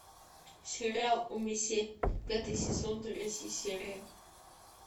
сериал умисе пятый сезон третья серия